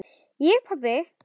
Ég pabbi!